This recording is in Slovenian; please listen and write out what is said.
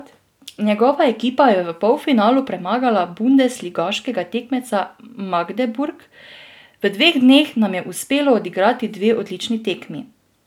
Njegova ekipa je v polfinalu premagala bundesligaškega tekmeca Magdeburg: "V dveh dneh nam je uspelo odigrati dve odlični tekmi.